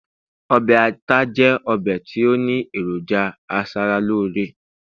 obe ata jẹ obe ti o ni eroja asaralore